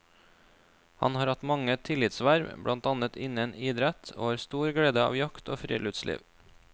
Han har hatt mange tillitsverv, blant annet innen idrett, og har stor glede av jakt og friluftsliv.